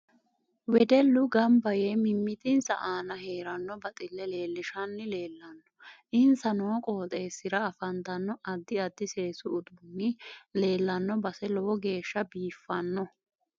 Wedellu ganbba yee mimitinsa aana heeranno baxille leelishanni leelanno insa noo qooxeesira afantanno addi addi seesu uduuni leelanno base lowo geesha biifanno